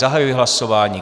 Zahajuji hlasování.